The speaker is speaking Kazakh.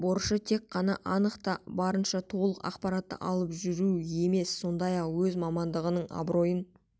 борышы тек қана анық та барынша толық ақпаратты алып жүру емес сондай-ақ өз мамандығының абыройын